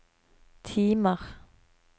timer